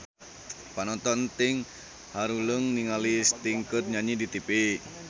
Panonton ting haruleng ningali Sting keur nyanyi di tipi